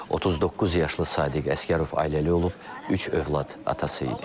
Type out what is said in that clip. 39 yaşlı Sadiq Əsgərov ailəli olub, üç övlad atası idi.